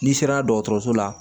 N'i sera dɔgɔtɔrɔso la